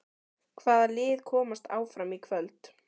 Hvaða lið komast áfram í kvöld?